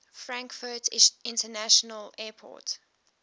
frankfurt international airport